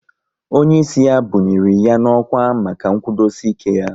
Onye ịsị ya bunyiri ya n'ọkwá maka nkwudosi ike ya